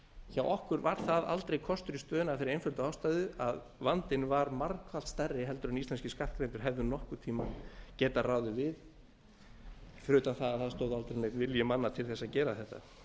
hjá okkur var það aldrei kostur í stöðunni af þeirri einföldu ástæðu að vandinn var margfalt stærri heldur en íslenskir skattgreiðendur hefðu nokkurn tíma getað ráð við fyrir utan að það stóð aldrei neinn vilji mann til að gera þetta